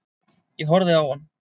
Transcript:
Ég horfði á hann.